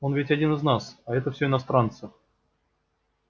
он ведь один из нас а это всё иностранцы